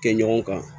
Kɛ ɲɔgɔn kan